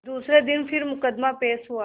दूसरे दिन फिर मुकदमा पेश हुआ